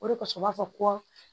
O de kosɔn u b'a fɔ ko